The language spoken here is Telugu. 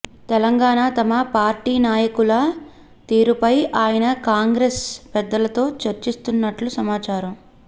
తెలంగాణ తమ పార్టీ నాయకుల తీరుపై ఆయన కాంగ్రెస్ పెద్దలతో చర్చిస్తున్నట్లు సమాచారం